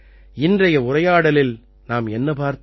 இன்றைய உரையாடலில் நாம் என்ன பார்த்தோம்